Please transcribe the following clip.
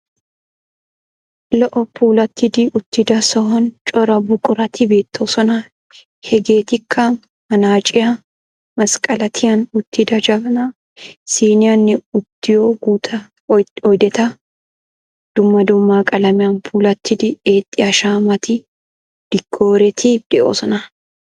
lo"o puulattidi uttida sohuwani cora buquratti beettoosona. hegeettikka manaaciyaa, mesqqeleettiyan uttida jabanaa, siiniyaanne uttiyoo guutta oydetta. dumma dumma qalamiyan puulatiida eexxiyaa shaamati, diikkooreti de"oosona.